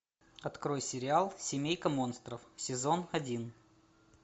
открой сериал семейка монстров сезон один